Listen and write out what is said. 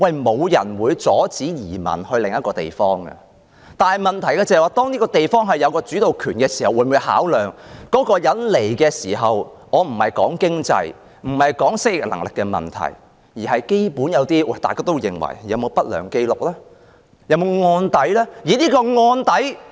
沒有人會阻止他人移民到另一個地方，但當一個地方有審批申請的主導權時，除了考量有關申請者的經濟或適應能力問題外，會否最基本考慮他有否不良紀錄或案底呢？